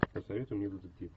посоветуй мне детектив